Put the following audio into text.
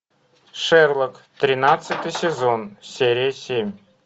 шерлок тринадцатый сезон серия семь